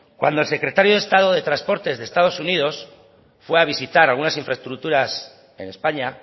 cuando el secretario de estado de transportes de estados unidos fue a visitar algunas infraestructuras en españa